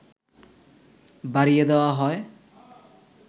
বাড়িয়ে দেওয়া হয়